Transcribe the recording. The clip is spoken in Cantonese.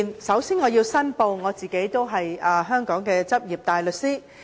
首先我要申報，我是香港的執業大律師。